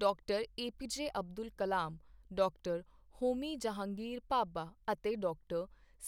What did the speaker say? ਡਾ. ਏ.ਪੀ.ਜੇ. ਅਬਦੁਲ ਕਲਾਮ, ਡਾ. ਹੋਮੀ ਜਹਾਂਗੀਰ ਭਾਭਾ ਅਤੇ ਡਾ.